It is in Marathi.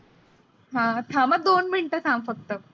हां थांब दोन minute थांब फ़क्त.